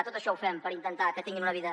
tot això ho fem per intentar que tinguin una vida